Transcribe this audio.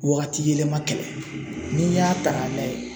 Wagati yɛlɛma kɛlɛ n'i y'a ta k'a lajɛ